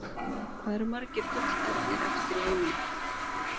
Hvað eru margir gullernir eftir í heiminum?